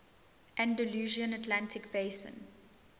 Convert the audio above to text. andalusian atlantic basin